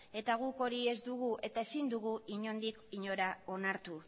guk hori ez dugu eta ezin dugu inondik inora onartu